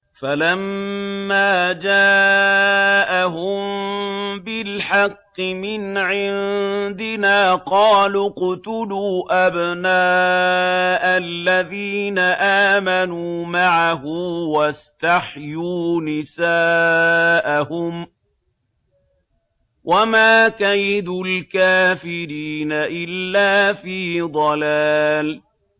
فَلَمَّا جَاءَهُم بِالْحَقِّ مِنْ عِندِنَا قَالُوا اقْتُلُوا أَبْنَاءَ الَّذِينَ آمَنُوا مَعَهُ وَاسْتَحْيُوا نِسَاءَهُمْ ۚ وَمَا كَيْدُ الْكَافِرِينَ إِلَّا فِي ضَلَالٍ